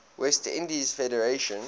west indies federation